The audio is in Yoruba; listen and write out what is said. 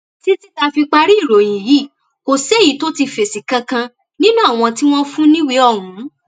títí tá a fi parí ìròyìn yìí kò séyìí tó ti fèsì kankan nínú àwọn tí wọn fún níwèé ọhún